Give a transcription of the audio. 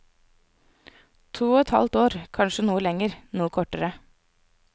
To og et halvt år, kanskje noe lenger, noe kortere.